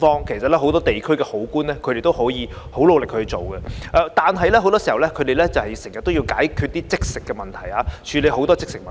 其實，很多地區的好官都很努力地做事，而很多時，他們要解決和處理一些"即食"的問題。